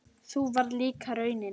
Sú varð líka raunin.